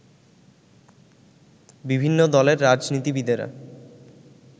বিভিন্ন দলের রাজনীতিবিদেরা